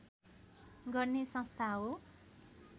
गर्ने संस्था हो